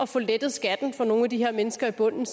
får lettet skatten for nogle af de her mennesker i bunden